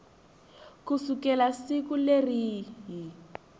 ku sukela siku leri yi